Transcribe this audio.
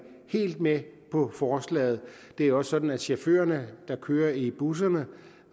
helt med på forslaget det er også sådan at chaufførerne der kører i busserne